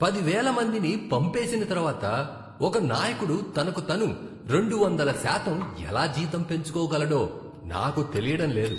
పదివేల మందిని పంపేసిన తర్వాత ఒక నాయకుడు తనకు తను రెండు వందల శాతం ఎలా జీతం పెంచుకోగలడో నాకు తెలియడం లేదు.